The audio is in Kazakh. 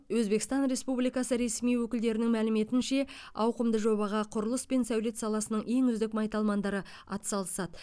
өзбекстан республикасы ресми өкілдерінің мәліметінше ауқымды жобаға құрылыс пен сәулет саласының ең үздік майталмандары атсалысады